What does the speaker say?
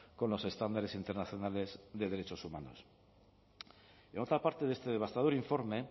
con los estándares internacionales de derechos humanos y en otra parte de este devastador informe